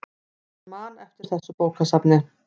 Hann man eftir þessu bókasafni.